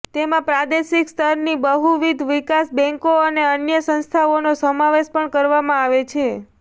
તેમાં પ્રાદેશિક સ્તરની બહુવિધ વિકાસ બેન્કો અને અન્ય સંસ્થાઓનો સમાવેશ પણ કરવામાં આવે છે